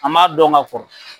An m'a dɔn ka kɔrɔ.